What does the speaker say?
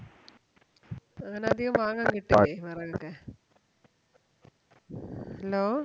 അങ്ങനതികം വാങ്ങാൻ കിട്ടൂലെ വെറകൊക്കെ Hello